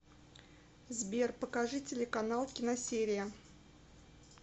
сбер покажи телеканал киносерия